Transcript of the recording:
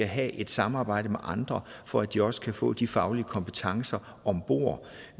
have et samarbejde med andre for at de også kan få de faglige kompetencer om bord